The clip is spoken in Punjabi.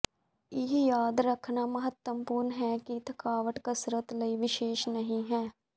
ਇਹ ਯਾਦ ਰੱਖਣਾ ਮਹੱਤਵਪੂਰਨ ਹੈ ਕਿ ਥਕਾਵਟ ਕਸਰਤ ਲਈ ਵਿਸ਼ੇਸ਼ ਨਹੀਂ ਹੈ